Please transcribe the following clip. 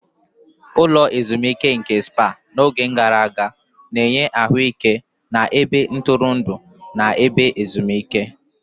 Ụlọ ezimuike nke Spá n'oge gara aga, na-enye ahụike na ebe ntụrụndụ na ebe ezimuike.